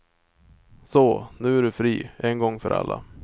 Så, nu är du fri, en gång för alla.